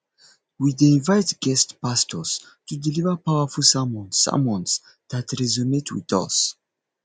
we dey invite guest pastors to deliver powerful sermons sermons that resonate with us